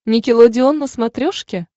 никелодеон на смотрешке